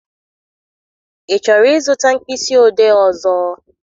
Ị chọrọ ịzụta mkpịsị odee ọzọ?